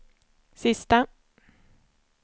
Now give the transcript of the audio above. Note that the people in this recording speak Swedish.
sista